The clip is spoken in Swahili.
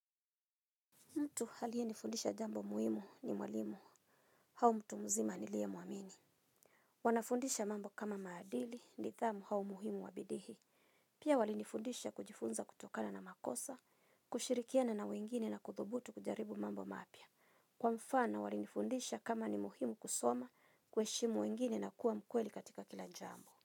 Mtu alie nifundisha jambo muhimu ni mwalimu, au mtu mzima nilie muamini. Wanafundisha mambo kama maadili nithamu au muhimu wa bidii. Pia walinifundisha kujifunza kutokana na makosa, kushirikiana na wengine na kuthubutu kujaribu mambo mapya. Kwa mfano walinifundisha kama ni muhimu kusoma kueshimu wengine na kuwa mkweli katika kila jambo.